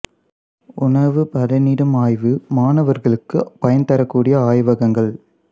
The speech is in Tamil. உணவு பதனிடும் ஆய்வு மாணவர்களுக்கு பயன் தரக் கூடிய ஆய்வகங்கள்